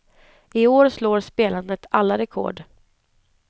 I år slår spelandet alla rekord.